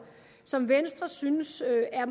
som venstre synes er